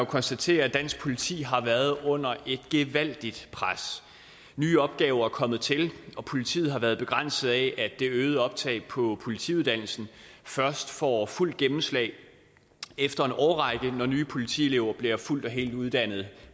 konstatere at dansk politi har været under et gevaldigt pres nye opgaver er kommet til og politiet har været begrænset af at det øgede optag på politiuddannelsen først får fuldt gennemslag efter en årrække når nye politielever bliver fuldt og helt uddannede